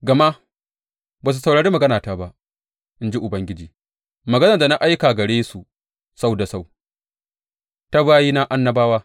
Gama ba su saurari maganata ba, in ji Ubangiji, maganar da na aika gare su sau da sau ta bayina annabawa.